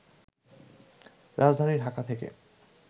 রাজধানী ঢাকা থেকে